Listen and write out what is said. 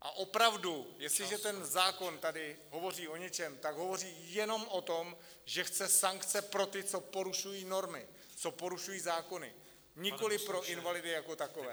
A opravdu, jestliže ten zákon tady hovoří o něčem, tak hovoří jenom o tom, že chce sankce pro ty, co porušují normy, co porušují zákony, nikoliv pro invalidy jako takové.